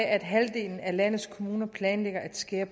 at halvdelen af landets kommuner planlægger at skære